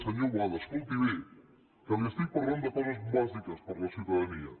senyor boada escolti bé que li estic parlant de coses bàsiques per a la ciutadana